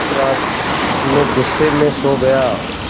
उस रात मैं ग़ुस्से में सो गया